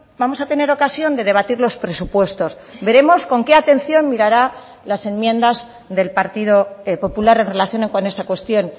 vamos a tener ocasión de debatir los presupuestos veremos con qué atención mirará las enmiendas del partido popular en relación con esta cuestión